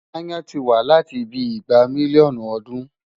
Aáyán ti wà láti bíi igba mílíọ̀nù ọdún.